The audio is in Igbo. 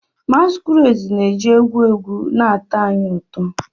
Masquerades na-eji egwu egwu na-atọ anyị ụtọ.